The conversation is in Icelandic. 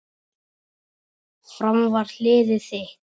Fram var liðið þitt.